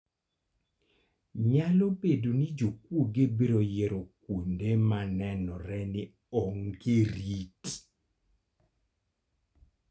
Nyalo bedo ni jokuoge biro yiero kuonde ma nenore ni onge rit.